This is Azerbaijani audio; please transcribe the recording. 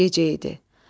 Gecə idi.